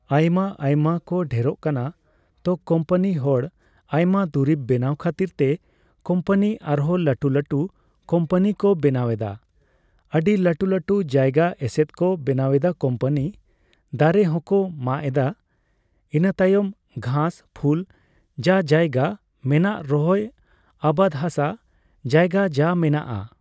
ᱟᱭᱢᱟᱼᱟᱭᱢᱟ ᱠᱚ ᱰᱷᱮᱨᱚᱜ ᱠᱟᱱᱟ ᱾ ᱛᱚ, ᱠᱚᱢᱯᱟᱱᱤ ᱦᱚᱲ ᱟᱭᱢᱟ ᱫᱩᱨᱤᱵ ᱵᱮᱱᱟᱣ ᱠᱷᱟᱹᱛᱤᱨ ᱛᱮ ᱠᱚᱢᱯᱟᱱᱤ ᱟᱨᱦᱚᱸ ᱞᱟᱹᱴᱩᱼᱞᱟᱹᱴᱩ ᱠᱚᱢᱯᱟᱱᱤ ᱠᱚ ᱵᱮᱱᱟᱣ ᱮᱫᱟ᱾ ᱟᱹᱰᱤ ᱞᱟᱹᱴᱩᱼᱞᱟᱹᱴᱩ ᱡᱟᱭᱜᱟ ᱮᱥᱮᱫ ᱠᱚ ᱵᱮᱱᱟᱣ ᱮᱫᱟ ᱠᱚᱢᱯᱟᱱᱤ ᱾ ᱫᱟᱨᱮ ᱦᱚᱸᱠᱚ ᱢᱟᱜ ᱮᱫᱟ, ᱤᱱᱟᱹᱛᱟᱭᱚᱢ ᱜᱷᱟᱸᱥᱼᱯᱷᱩᱞ ᱡᱟ ᱡᱟᱭᱜᱟ ᱢᱮᱱᱟᱜᱨᱚᱦᱚᱭ ᱟᱵᱟᱫᱦᱟᱥᱟ ᱡᱟᱭᱜᱟ ᱡᱟ ᱢᱮᱱᱟᱜᱼᱟ